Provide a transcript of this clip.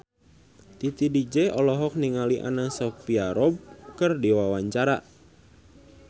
Titi DJ olohok ningali Anna Sophia Robb keur diwawancara